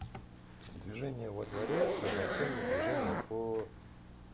движение во дворе равноценно движения по